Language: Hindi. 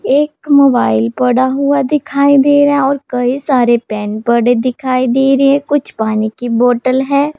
एक मोबाइल पड़ा हुआ दिखाई दे रहा है और कई सारे पेन पड़े दिखाई दे रहे हैं कुछ पानी की बॉटल है।